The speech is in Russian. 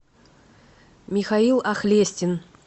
михаил ахлестин